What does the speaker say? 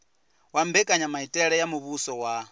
wa mbekanyamaitele ya muvhuso wa